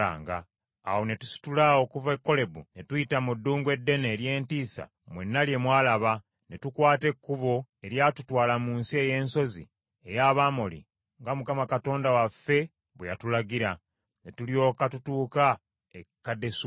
Awo ne tusitula okuva e Kolebu, ne tuyita mu ddungu eddene ery’entiisa mwenna lye mwalaba, ne tukwata ekkubo eryatutwala mu nsi ey’ensozi ey’Abamoli, nga Mukama Katonda waffe bwe yatulagira; ne tulyoka tutuuka e Kadesubanea.